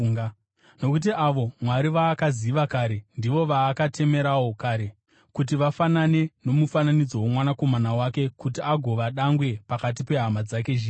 Nokuti avo Mwari vaakaziva kare, ndivo vaakatemerawo kare, kuti vafanane nomufananidzo woMwanakomana wake, kuti agova dangwe pakati pehama dzake zhinji.